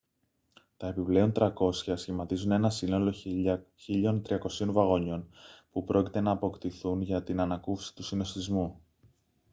τα επιπλέον 300 σχηματίζουν ένα σύνολο 1.300 βαγονιών που πρόκειται να αποκτηθούν για την ανακούφιση του συνωστισμού